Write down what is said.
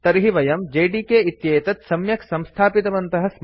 तर्हि वयं जेडीके इत्येतत् सम्यक् संस्थापितवन्तः स्मः